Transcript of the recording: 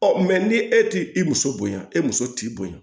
ni e t'i i muso bonya e muso t'i bonya